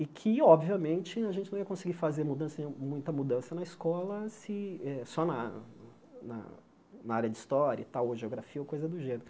E que, obviamente, a gente não ia conseguir fazer mudança nehum muita mudança na escola, se só na na na área de História e tal, ou Geografia ou coisa do gênero.